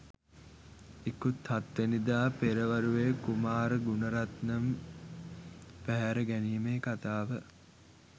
ඉකුත් හත් වැනිදා පෙරවරුවේ කුමාර් ගුණරත්නම් පැහැර ගැනීමේ කථාව